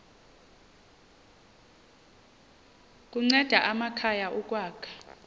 kunceda amakhaya ukwakha